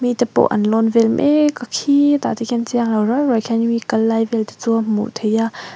mite pawh an lawn vel mek a khitah te khian chianglo riau riau hian mi kal lai vel te chu hmuh theih a.